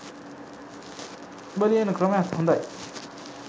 උබ ලියන ක්‍රමයත් හොඳයි?